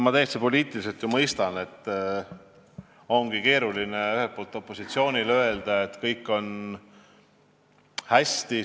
Ma poliitiliselt täiesti ju mõistan, et opositsioonil ongi ühelt poolt keeruline öelda, et kõik on hästi.